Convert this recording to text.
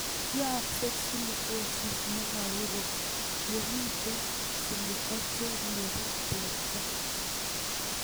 Yaakse Silicosis ne makorom ye mito Silica che ng'ering' portoo